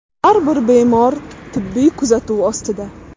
Har bir bemor tibbiy kuzatuv ostida.